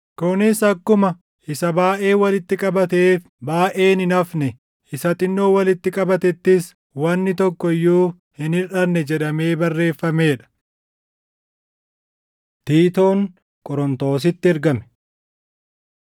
kunis akkuma, “Isa baayʼee walitti qabateef baayʼeen hin hafne; isa xinnoo walitti qabatettis wanni tokko iyyuu hin hirʼanne” + 8:15 \+xt Bau 16:18\+xt* jedhamee barreeffamee dha. Tiitoon Qorontositti Ergame